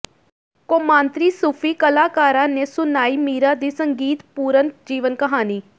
ਕੌਮਾਂਤਰੀ ਸੂਫੀ ਕਲਾਕਾਰਾਂ ਨੇ ਸੁਣਾਈ ਮੀਰਾ ਦੀ ਸੰਗੀਤਪੂਰਨ ਜੀਵਨ ਕਹਾਣੀ